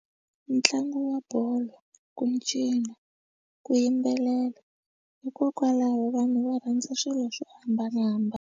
Ntlangu wa bolo, ku cina, ku yimbelela hikokwalaho vanhu va rhandza swilo swo hambanahambana.